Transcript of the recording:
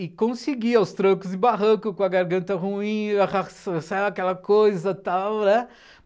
E conseguia os trancos e barranco, com a garganta ruim, aquela coisa tal, né.